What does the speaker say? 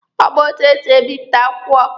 Ọ ma etu esi ebipụta akwụkwọ.